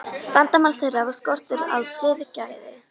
Vandamál þeirra var skortur á siðgæði.